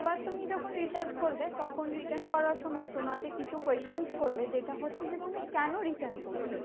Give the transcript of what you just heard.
এবার তুমি যখন return করবে তখন return করার সময় তোমাকে কিছু questions করবে। যেটা হচ্ছে যে তুমি কেন return করছো?